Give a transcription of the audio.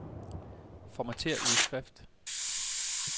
Formatér udskrift.